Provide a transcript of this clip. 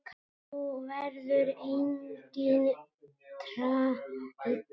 Þú verður enginn þræll.